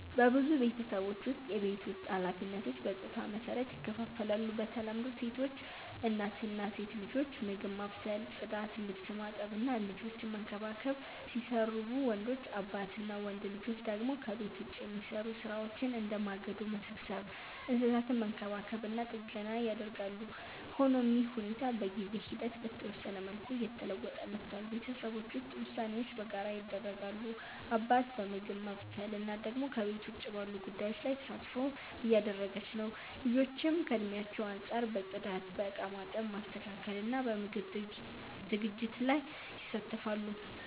በብዙ ቤተሰቦች ውስጥ የቤት ውስጥ ኃላፊነቶች በጾታ መሰረት ይከፋፈላሉ። በተለምዶ ሴቶች (እናት እና ሴት ልጆች) ምግብ ማብሰል፣ ጽዳት፣ ልብስ ማጠብ እና ልጆችን መንከባከብ ሲሰሩቡ፣ ወንዶች (አባት እና ወንድ ልጆች) ደግሞ ከቤት ውጭ የሚሰሩ ሥራዎችን፣ እንደ ማገዶ መሰብሰብ፣ እንስሳትን መንከባከብ እና ጥገና ያደርጋሉ። ሆኖም ይህ ሁኔታ በጊዜ ሂደት በተወሰነ መልኩ እየተለወጠ መጥቷል። ቤተሰቦች ውስጥ ውሳኔዎች በጋራ ይደረጋሉ፤ አባት በምግብ ማብሰል፣ እናት ደግሞ ከቤት ውጭ ባሉ ጉዳዮች ላይ ተሳትፎ እያደረገች ነው። ልጆችም ከእድሜያቸው አንጻር በጽዳት፣ በእቃ ማጠብ፣ ማስተካከል እና በምግብ ዝግጅት ላይ ይሳተፋሉ።